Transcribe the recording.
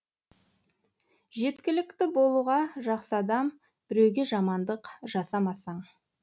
жеткілікті болуға жақсы адам біреуге жамандық жасамасаң